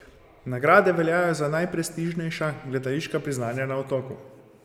Nagrade veljajo za najprestižnejša gledališka priznanja na Otoku.